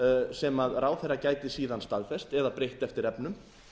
sem ráðherra gæti síðan staðfest eða breytt eftir efnum